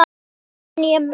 Þannig mun ég muna hana.